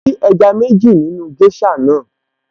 Mo rí ẹja méjì nínú géṣà naa